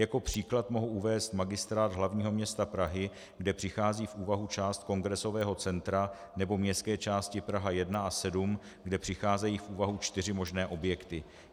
Jako příklad mohu uvést Magistrát hlavního města Prahy, kde přichází v úvahu část Kongresového centra, nebo městské části Praha 1 a 7, kde přicházejí v úvahu čtyři možné objekty.